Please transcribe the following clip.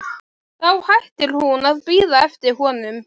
Þá hættir hún að bíða eftir honum.